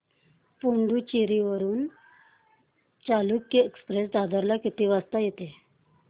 पुडूचेरी वरून चालुक्य एक्सप्रेस दादर ला किती वाजता येते